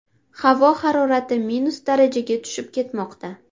Havo harorati minus darajaga tushib ketmoqda.